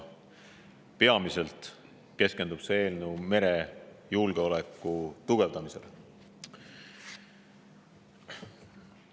Peamiselt keskendub see eelnõu merejulgeoleku tugevdamisele.